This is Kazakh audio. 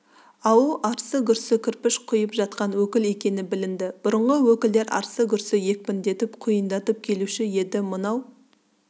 ауыл арсы-гүрсі кірпіш құйып жатқан өкіл екені білінді бұрынғы өкілдер арсы-гүрсі екпіндетіп құйындатып келуші еді мынау